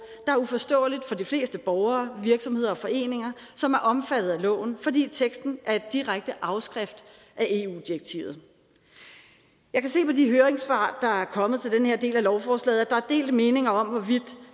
der er uforståeligt for de fleste borgere virksomheder og foreninger som er omfattet af loven fordi teksten er en direkte afskrift af eu direktivet jeg kan se på de høringssvar der er kommet til den her del af lovforslaget at der er delte meninger om hvorvidt